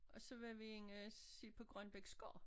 Og så var vi inde og se på Grønbechs gård